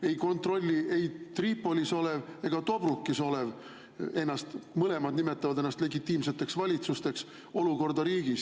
Ei kontrolli ei Tripolis ega Tobrukis olev – nad mõlemad nimetavad ennast legitiimseks valitsuseks – olukorda riigis.